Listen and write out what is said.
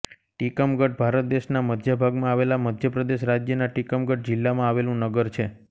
ટીકમગઢ ભારત દેશના મધ્ય ભાગમાં આવેલા મધ્ય પ્રદેશ રાજ્યના ટીકમગઢ જિલ્લામાં આવેલું નગર છે